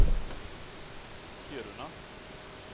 Kiruna